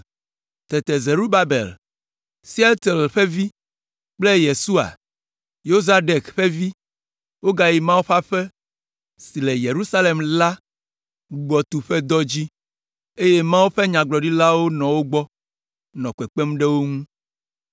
Tete Zerubabel, Sealtiel ƒe vi kple Yesua, Yozadek ƒe vi, wogayi Mawu ƒe aƒe si le Yerusalem la gbugbɔtu ƒe dɔ dzi, eye Mawu ƒe Nyagblɔɖilawo nɔ wo gbɔ, nɔ kpekpem ɖe wo ŋu.